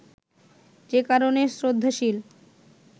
যে কারণে শ্রদ্ধাশীল